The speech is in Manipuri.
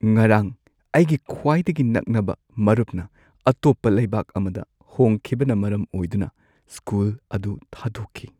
ꯉꯔꯥꯡ ꯑꯩꯒꯤ ꯈ꯭ꯋꯥꯏꯗꯒꯤ ꯅꯛꯅꯕ ꯃꯔꯨꯞꯅ ꯑꯇꯣꯞꯄ ꯂꯩꯕꯥꯛ ꯑꯃꯗ ꯍꯣꯡꯈꯤꯕꯅ ꯃꯔꯝ ꯑꯣꯏꯗꯨꯅ ꯁ꯭ꯀꯨꯜ ꯑꯗꯨ ꯊꯥꯗꯣꯛꯈꯤ꯫